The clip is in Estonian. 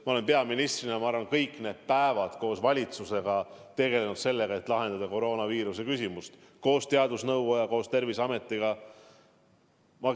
Ma olen peaministrina kõik need päevad koos valitsusega, koos teadusnõukoja ja Terviseametiga tegelenud sellega, et lahendada koroonaviiruse põhjustatud probleeme.